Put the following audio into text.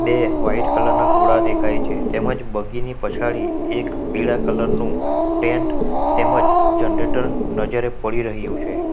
બે white colour ના ઘોડા દેખાય છે તેમજ બગીની પછાડી એક પીળા કલર નું ટેન્ટ તેમજ જનરેટર નજરે પડી રહ્યું છે.